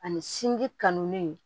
Ani sinji kanu